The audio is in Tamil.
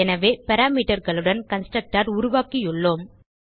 எனவே Parameterகளுடன் கன்ஸ்ட்ரக்டர் உருவாக்கியுள்ளோம்